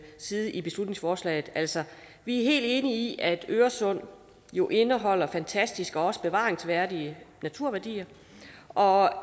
side i beslutningsforslaget altså vi er helt enige i at øresund jo indeholder fantastiske og bevaringsværdige naturværdier og